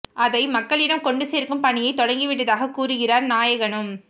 அதை மக்களிடம் கொண்டு சேர்க்கும் பணியைத் தொடங்கி விட்டதாகக் கூறுகிறார் நாயகனும்